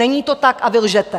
Není to tak a vy lžete.